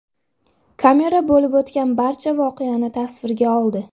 Kamera bo‘lib o‘tgan barcha voqeani tasvirga oldi.